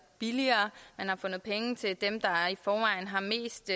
billigere man har fundet penge til dem der i forvejen har mest